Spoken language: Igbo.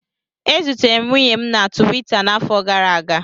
E zutere m nwunye m na Tuwita n'afọ gara aga